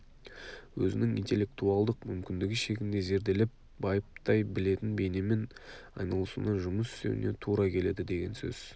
өзінің интеллектуалдық мүмкіндігі шегінде зерделеп байыптай білетін бейнемен айналысуына жұмыс істеуіне тура келеді деген сөз